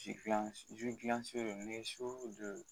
ni su don